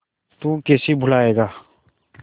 तू कैसे भूलाएगा